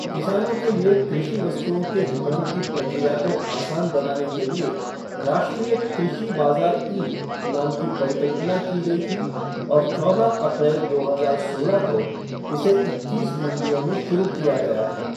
किसानों के लिए कृषि वस्तु्ओं के विपणन की प्रक्रिया को आसान बनाने के लिए राष्ट्रीय कृषि बाजार ई नाम की परिकल्पना की गई थी और चौदह अप्रैल, दो हजार सोलह को इसे इक्कीस मंडियों में शुरू किया गया था।